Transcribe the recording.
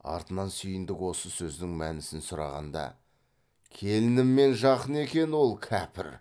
артынан сүйіндік осы сөздің мәнісін сұрағанда келінімен жақын екен ол кәпір